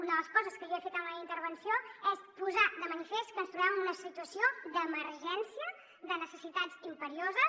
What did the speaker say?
una de les coses que jo he fet en la meva intervenció és posar de manifest que ens trobem en una situació d’emergència de necessitats imperioses